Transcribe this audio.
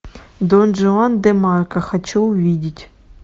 дон жуан де марко хочу увидеть